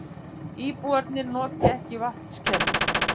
Íbúarnir noti ekki vatnskerfið